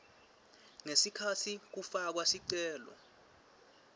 ngesikhatsi kufakwa sicelo